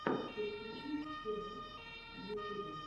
подключи тирэкс в ютубе